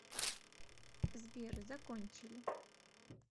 сбер закончили